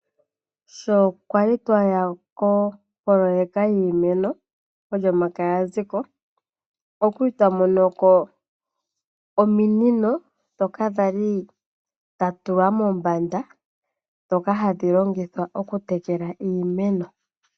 Sho kwali twaya kopololeka yiimeno Olyomakaya ya zi ko. Okwa li twa mono ko ominino dhoka dhali dha tulwa mombanda. Ndhoka hadhi longithwa okutekela iimeno.